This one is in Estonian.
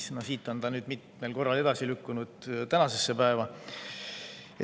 See on nüüd mitmel korral edasi lükkunud ja jõudnud tänasesse päeva.